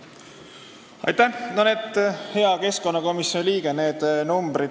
Aitäh, hea keskkonnakomisjoni liige!